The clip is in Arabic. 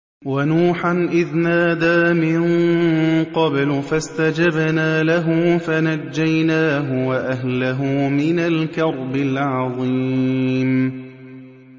وَنُوحًا إِذْ نَادَىٰ مِن قَبْلُ فَاسْتَجَبْنَا لَهُ فَنَجَّيْنَاهُ وَأَهْلَهُ مِنَ الْكَرْبِ الْعَظِيمِ